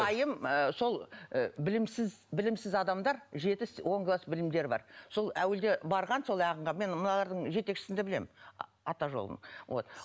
ы сол ы білімсіз білімсіз адамдар жеті он класс білімдері бар сол әуелде барған сол ағынға мен мыналардың жетекшісін де білемін ата жолдың вот